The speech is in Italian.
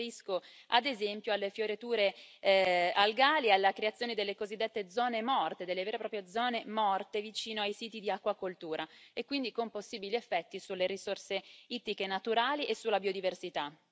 Mi riferisco, ad esempio, alle fioriture algali, alla creazione delle cosiddette zone morte, delle vere e proprie zone morte vicino ai siti di acquacoltura, quindi con possibili effetti sulle risorse ittiche naturali e sulla biodiversità.